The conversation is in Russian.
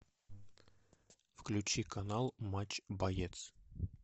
включи канал матч боец